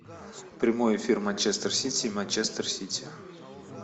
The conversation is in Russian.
прямой эфир манчестер сити и манчестер сити